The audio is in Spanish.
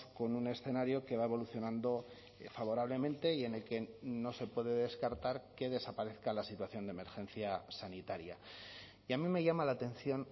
con un escenario que va evolucionando favorablemente y en el que no se puede descartar que desaparezca la situación de emergencia sanitaria y a mí me llama la atención